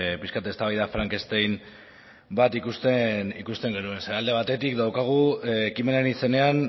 pixka eztabaida frankenstein bat ikusten genuen ze alde batetik daukagu ekimenaren izenean